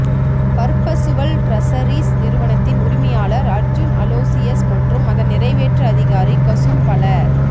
perpetual Treasuries நிறுவனத்தின் உரிமையாளர் அர்ஜுன் அலோசியஸ் மற்றும் அதன் நிறைவேற்று அதிகாரி கசுன் பல